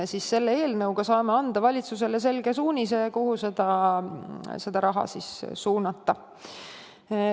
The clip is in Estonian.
Selle eelnõuga saame anda valitsusele selge suunise, kuhu see raha suunata.